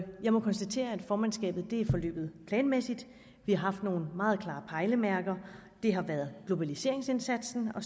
må konstatere at formandskabet er forløbet planmæssigt vi har haft nogle meget klare pejlemærker det har været globaliseringsindsatsen og